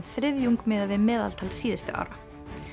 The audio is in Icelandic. þriðjung miðað við meðaltal síðustu ára